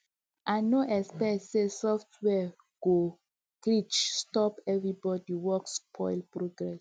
um i no expect say software go um glitch stop everybody work spoil progress